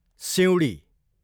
सिँउडी